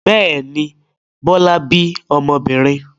Bẹ́ẹ̀ ni, Bọ́lá bí ọmọbìnrin.